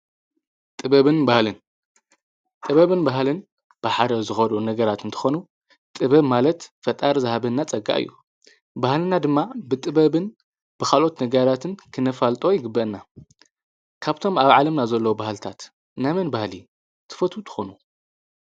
ጥብንሃልንጥበብን በሃልን ብሓረ ዝኸዱ ነገራትን ትኾኑ ጥበብ ማለት ፈጣር ዝሃበና ጸጋ እዩ በህልና ድማ ብጥበብን ብኻልኦት ነገራትን ክነፋልጦ ይግበአና ካብቶም ኣብ ዓለምናዘለዉ በሃልታት ናመን ባህሊ ትፈቱ ትኾኑ?